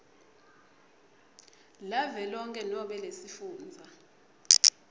lavelonkhe nobe lesifundza